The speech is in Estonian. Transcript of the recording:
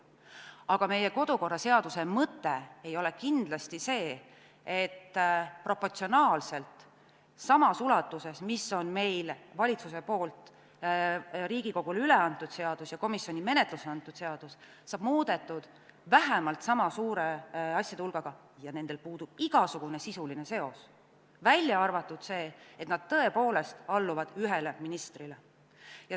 Aga meie kodukorraseaduse mõte ei ole kindlasti see, et proportsionaalselt samas ulatuses, nagu on valitsuse poolt Riigikogule üleantud seadus ja komisjoni menetlusse antud seadus, muudetakse vähemalt sama suurt asjade hulka, kusjuures nendel puudub igasugune sisuline seos, välja arvatud see, et nad tõepoolest alluvad ühele ministrile.